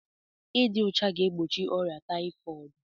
Ịdị ọcha ga-egbochi ọrịa tayifọọdu